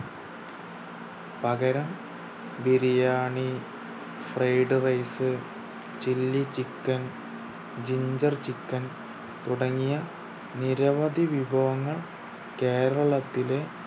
പകരം biryani fried rice chilly chicken ginger chicken തുടങ്ങിയ നിരവധി വിഭവങ്ങൾ കേരളത്തിലെ